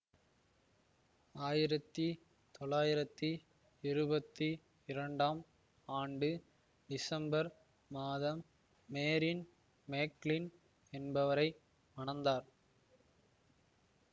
ஆயிரத்தி தொளாயிரத்தி இருபத்தி இரண்டாம் ஆண்டு டிசம்பர் மாதம் மேரின் மேக்லின் என்பவரை மணந்தார்